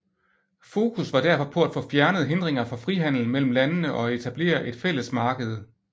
Fokus var derfor på at få fjernet hindringer for frihandel mellem landene og etablere et fælles marked